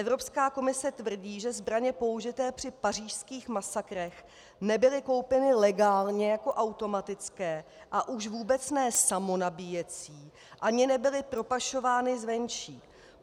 Evropská komise tvrdí, že zbraně použité při pařížských masakrech nebyly koupeny legálně jako automatické a už vůbec ne samonabíjecí, ani nebyly propašovány zvenčí.